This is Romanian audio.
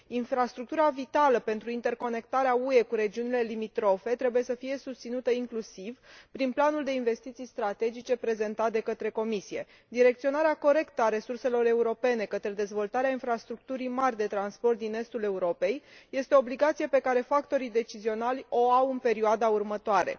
Infrastructura vitală pentru interconectarea UE cu regiunile limitrofe trebuie să fie susținută inclusiv prin Planul de investiții strategice prezentat de către Comisie. Direcționarea corectă a resurselor europene către dezvoltarea infrastructurii mari de transport din Estul Europei este o obligație pe care factorii decizionali o au în perioada următoare.